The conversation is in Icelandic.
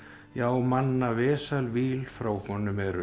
já manna víl frá honum eru